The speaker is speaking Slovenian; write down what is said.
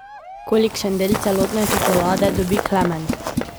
Kolikšen del celotne čokolade dobi Klemen?